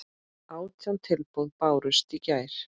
Átján tilboð bárust í gær.